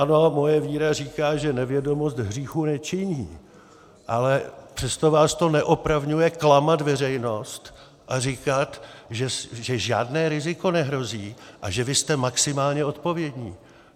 Ano, moje víra říká, že nevědomost hříchu nečiní, ale přesto vás to neopravňuje klamat veřejnost a říkat, že žádné riziko nehrozí a že vy jste maximálně odpovědní.